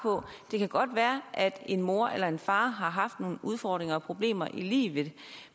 på det kan godt være at en mor eller en far har haft nogle udfordringer og problemer i livet